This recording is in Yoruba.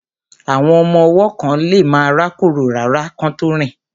Àwọn ọmọ ọwọ́ kán lemá rákórò rárá kán tó rìn